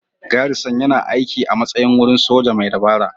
Garrison yana aiki a matsayin wurin soja mai dabara.